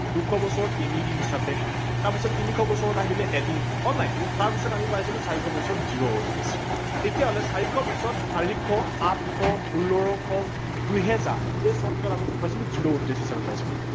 দুশ বছৰত তিনি দিন হিচাপে তাৰ পিছত তিনিশ বছৰত আহিলে এদিন তাৰ পাছত আমি পাইছিলো চাৰিশ বছৰত zero ।তেতিয়া হলে চাৰিশৰ পাছত চাৰিশ, আঠশ, ষোল্লশ, দুহেজাৰ এই চন কেইটাত আমি কি পাইছিলো zero odd days হিচাপে পাইছিলো